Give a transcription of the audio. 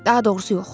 Daha doğrusu yox.